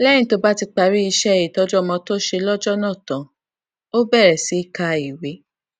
léyìn tó bá ti parí iṣé ìtọjú ọmọ tó ṣe lójó náà tán ó bèrè sí ka ìwé